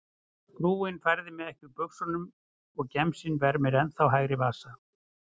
Frúin færði mig ekki úr buxunum og gemsinn vermir ennþá hægri vasa.